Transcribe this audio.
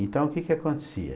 Então, o que que acontecia?